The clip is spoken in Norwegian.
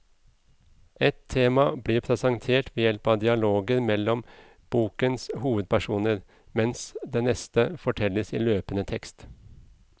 Ett tema blir presentert ved hjelp av dialoger mellom bokens hovedpersoner, mens det neste fortelles i løpende tekst.